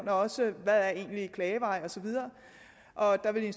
også hvad der egentlig er klagevejen og så videre og der ville en